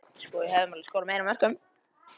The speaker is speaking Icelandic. Hann er handlaginn og getur allt mögulegt.